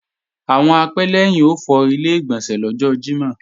Àwọn apẹ́lẹ́yìn ó fọ Ilé-ìgbọ̀nsẹ̀ lọ́jọ́ Jímọ̀